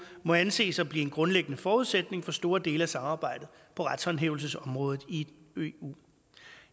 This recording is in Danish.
må anses for at blive en grundlæggende forudsætning for store dele af samarbejdet på retshåndhævelsesområdet i eu